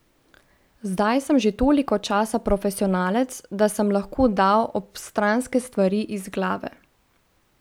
Zdaj sem že toliko časa profesionalec, da sem lahko dal obstranske stvari iz glave.